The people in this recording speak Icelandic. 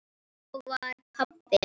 Þá var pabbi.